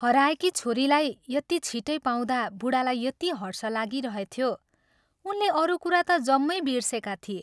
हराएकी छोरीलाई यति छिट्टै पाउँदा बूढालाई यति हर्ष लागिरहेथ्यो, उनले अरू कुरा ता जम्मै बिर्सेका थिए।